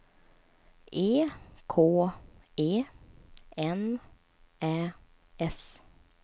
E K E N Ä S